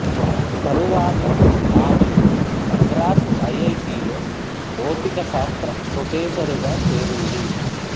తరువాత ఆమె మద్రాసు ఐఐటిలో భౌతిక శాస్త్ర ప్రొఫెసరుగా చేరింది